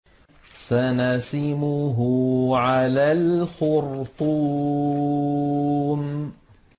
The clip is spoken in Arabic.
سَنَسِمُهُ عَلَى الْخُرْطُومِ